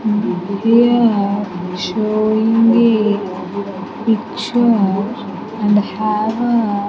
Here showing a picture and have a --